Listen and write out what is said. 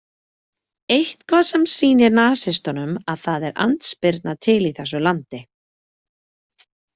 Eitthvað sem sýnir nasistunum að það er andspyrna til í þessu landi.